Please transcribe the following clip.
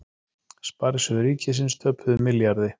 Sparisjóðir ríkisins töpuðu milljarði